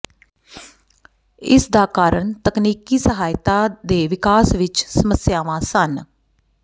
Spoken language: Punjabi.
ਇਸਦਾ ਕਾਰਨ ਤਕਨੀਕੀ ਸਹਾਇਤਾ ਦੇ ਵਿਕਾਸ ਵਿੱਚ ਸਮੱਸਿਆਵਾਂ ਸਨ